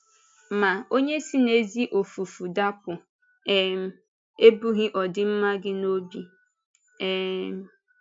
Ma onye si n’ezi ọfụ̀fụ̀ dapụ̀ um ebughị ọdịmma gị n’obi. um